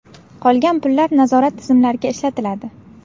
Qolgan pullar nazorat tizimlariga ishlatiladi.